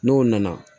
N'o nana